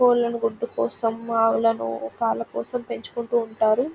Colony గుట్టు కోసం ఆవులని పాలు కోసం పెంచుకుంటూ ఉంటారు.